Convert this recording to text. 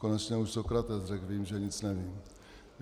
Konečně už Sokrates řekl: Vím, že nic nevím.